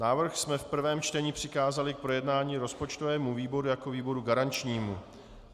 Návrh jsme v prvém čtení přikázali k projednání rozpočtovému výboru jako výboru garančnímu.